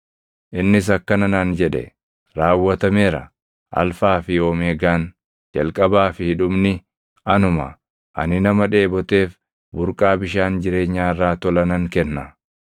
Innis akkana naan jedhe: “Raawwatameera. Alfaa fi Omeegaan, Jalqabaa fi Dhumni anuma. Ani nama dheeboteef burqaa bishaan jireenyaa irraa tola nan kenna.